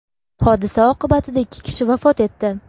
Hodisa oqibatida ikki kishi vafot etdi.